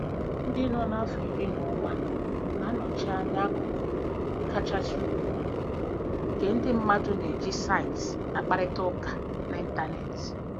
Ndị nọ n'afọ iri na ụma na-anọchi anya akụkụ kachasị ukwuu nke ndị mmadụ na-eji saịtị akparịta ụka n'Ịntanet......